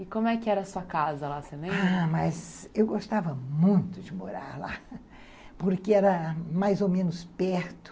E como é que era a sua casa lá, você lembra?... Ah, mas eu gostava muito de morar lá, porque era mais ou menos perto.